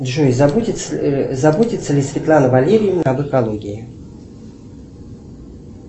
джой заботится ли светлана валерьевна об экологии